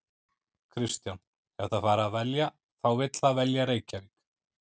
Kristján: Ef það fær að velja þá vill það velja Reykjavík?